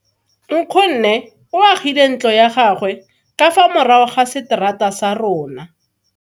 Nkgonne o agile ntlo ya gagwe ka fa morago ga seterata sa rona.